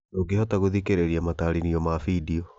Ndũngĩhota gũthikĩrĩria matarĩrio ma findio